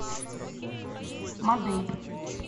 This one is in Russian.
мадей